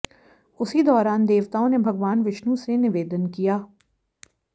उसी दौरान देवताओं ने भगवान विष्णु से निवेदन किया